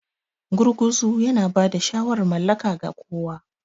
Gurguzu yana ba da shawarar mallaka ga kowa.